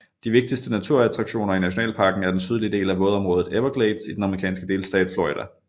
De vigtigste naturattraktioner i nationalparken er den sydlige del af vådområdet Everglades i den amerikanske delstat Florida